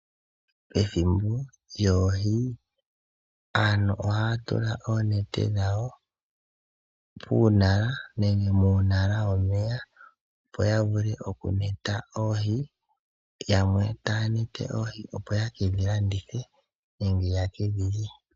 Ethimbo lyoohi, aantu ohaya tula oonete dhayo puunala nenge muunala womeya, opo yavule okumeta oohi. Yamwe ohaya mete oohi opo yekedhi lye, nenge yedhi landithe.